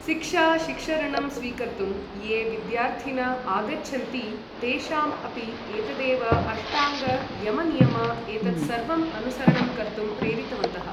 शिक्षा शिक्षऋणं स्वीकर्तुं ये विद्यार्थिन आगच्छन्ति तेषाम् अपि एतदेव अष्टाङ्ग यम नियम एतत् सर्वं अनुसरणं कर्तुं प्रेरितवन्तः